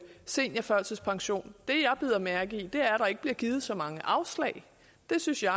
seniorførtidspension det jeg bider mærke i er at der ikke bliver givet så mange afslag det synes jeg